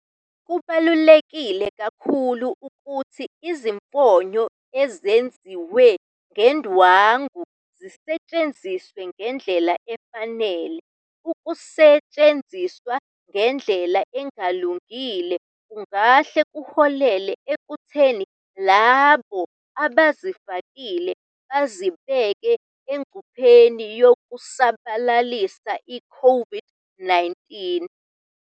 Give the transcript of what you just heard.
Kubaluleke kakhulu ukuthi izifonyo ezenziwe ngendwangu zisetshenziswe ngendlela efanele. Ukusetshenziswa ngendlela engalungile kungahle kuholele ekutheni labo abawafakile bazibeke engcupheni yokusabalalisa iCOVID-19.